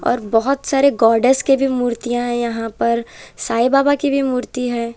और बोहोत सारे गॉडेस के भी मूर्तियां हैं यहां पर साइ बाबा की भी मूर्ति हैं।